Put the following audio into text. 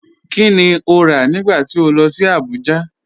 Kíni o rá nígbà tí o lọ sí Àbújà?